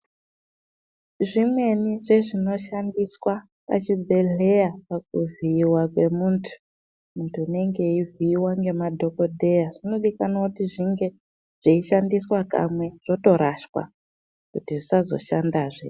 Zvimweni zvezvinoshandiswa pachibhehleya pakuvhiiwa kwemuntu muntu unenge achivhiiwa nemadhokodheya zvinodikamwa kuti zvinge zvichishanda kamwe zvotorashwa kuti zvisazoshanda zve.